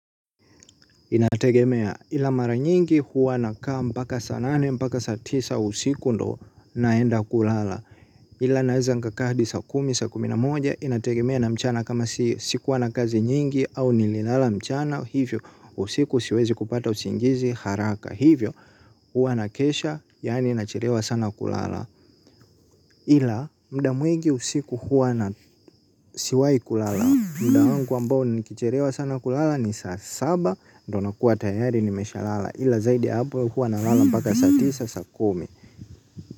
Inategemea ila mara nyingi huwa nakaa mpaka saa nane mpaka saa tisa usiku ndo naenda kulala. Ila naieza nikaka hadi saa kumi saa kumi na moja inategemea na mchana kama sikuwa na kazi nyingi au nililala mchana. Hivyo usiku siwezi kupata usingizi haraka. Hivyo huwa nakesha yaani nachelewa sana kulala. Ila mda mwigi usiku huwa na siwai kulala. Mda wangu ambao nikichelewa sana kulala ni saa saba. Ndi nakuwa tayari nimesha lala. Ila zaidi ya hapo huwa nalala mpaka saa tisa saa kumi.